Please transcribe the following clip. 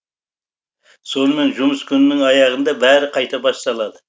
сонымен жұмыс күнінің аяғында бәрі қайта басталады